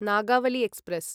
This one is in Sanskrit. नागावली एक्स्प्रेस्